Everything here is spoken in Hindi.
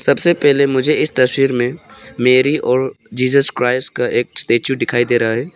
सबसे पहले मुझे इस तस्वीर में मेरी और जीसस क्राइस्ट का एक स्टैचू दिखाई दे रहा है।